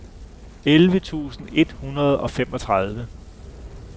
elleve tusind et hundrede og femogtredive